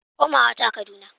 Komawa ta Kaduna.